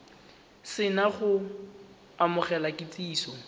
se na go amogela kitsiso